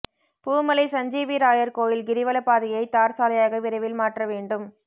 பூமலை சஞ்சீவிராயர் கோயில் கிரிவல பாதையை தார் சாலையாக விரைவில் மாற்ற வேண்டும்